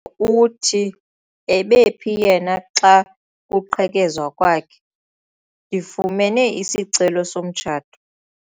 Uthi ebephi yena xa kuqhekezwa kwakhe? ndifumene isicelo somtshato